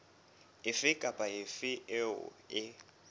efe kapa efe eo e